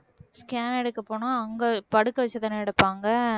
scan எடுக்க போனா அங்க படுக்க வச்சுதானே எடுப்பாங்க